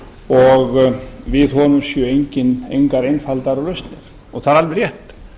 og við honum séu engar einfaldar lausnir það er alveg rétt